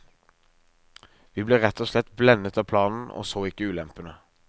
Vi ble rett og slett blendet av planen og så ikke ulempene.